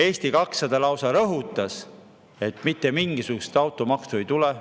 Eesti 200 lausa rõhutas, et mitte mingisugust automaksu ei tule.